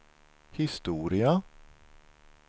historia